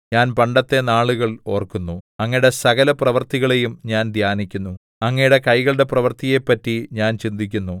ഞാൻ പണ്ടത്തെ നാളുകൾ ഓർക്കുന്നു അങ്ങയുടെ സകലപ്രവൃത്തികളെയും ഞാൻ ധ്യാനിക്കുന്നു അങ്ങയുടെ കൈകളുടെ പ്രവൃത്തിയെപ്പറ്റി ഞാൻ ചിന്തിക്കുന്നു